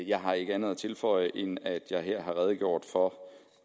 jeg har ikke andet at tilføje end at jeg her har redegjort for